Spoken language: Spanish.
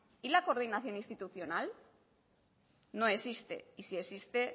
y la coordinación institucional no existe y si existe